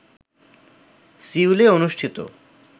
সিউলে অনুষ্ঠিত